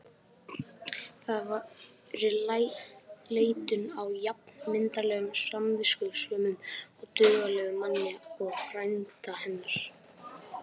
Það væri leitun á jafn myndarlegum, samviskusömum og duglegum manni og frænda hennar.